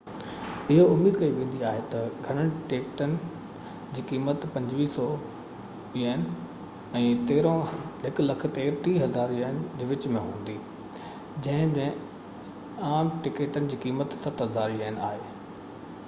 اهو اميد ڪئي ويندي آهي تہ گهڻن ٽڪيٽن جي قيمت ¥2,500 ۽ ¥130,000 جي وچ م هوندي جنهن ۾ عام ٽڪيٽن جي قيمت ¥7,000 آهي